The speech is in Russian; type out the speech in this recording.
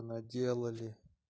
наделали